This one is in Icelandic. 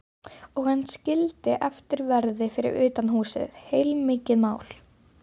Og hann skildi eftir verði fyrir utan húsið, heilmikið mál.